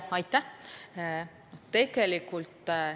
Aitäh!